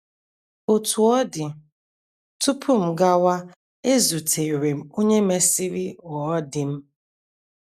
Otú ọ dị, tupu m gawa ezutere m onye mesịrị ghọọ di m.